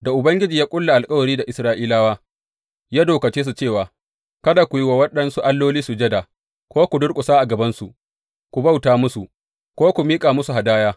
Da Ubangiji ya ƙulla alkawari da Isra’ilawa, ya dokace su cewa, Kada ku yi wa waɗansu alloli sujada ko ku durƙusa a gabansu ku bauta musu, ko ku miƙa musu hadaya.